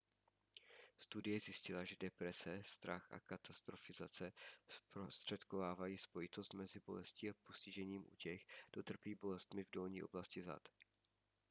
studie zjistila že deprese strach a katastrofizace zprostředkovávají spojitost mezi bolestí a postižením u těch kdo trpí bolestmi v dolní oblasti zad